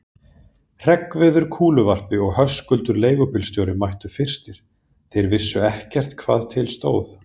Hreggviður kúluvarpari og Höskuldur leigubílstjóri mættu fyrstir, þeir vissu ekkert hvað til stóð.